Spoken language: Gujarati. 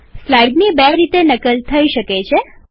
સ્લાઈડની બે રીતે નકલ થઇ શકે છે